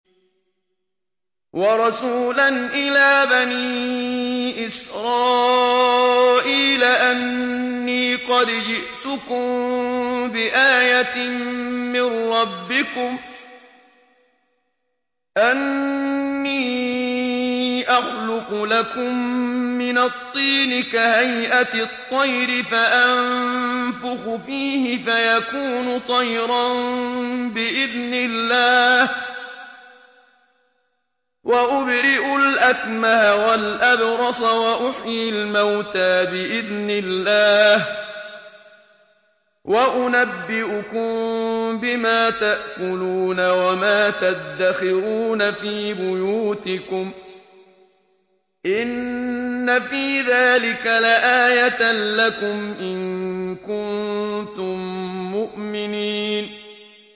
وَرَسُولًا إِلَىٰ بَنِي إِسْرَائِيلَ أَنِّي قَدْ جِئْتُكُم بِآيَةٍ مِّن رَّبِّكُمْ ۖ أَنِّي أَخْلُقُ لَكُم مِّنَ الطِّينِ كَهَيْئَةِ الطَّيْرِ فَأَنفُخُ فِيهِ فَيَكُونُ طَيْرًا بِإِذْنِ اللَّهِ ۖ وَأُبْرِئُ الْأَكْمَهَ وَالْأَبْرَصَ وَأُحْيِي الْمَوْتَىٰ بِإِذْنِ اللَّهِ ۖ وَأُنَبِّئُكُم بِمَا تَأْكُلُونَ وَمَا تَدَّخِرُونَ فِي بُيُوتِكُمْ ۚ إِنَّ فِي ذَٰلِكَ لَآيَةً لَّكُمْ إِن كُنتُم مُّؤْمِنِينَ